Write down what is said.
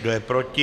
Kdo je proti?